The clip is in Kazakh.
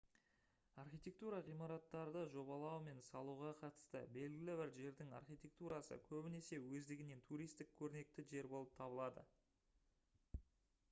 архитектура ғимараттарды жобалау мен салуға қатысты белгілі бір жердің архитектурасы көбінесе өздігінен туристік көрнекті жер болып табылады